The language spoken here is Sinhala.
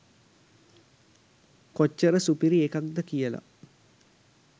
කොච්චර සුපිරි එකක්ද කියලා